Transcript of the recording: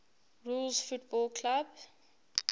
rules football clubs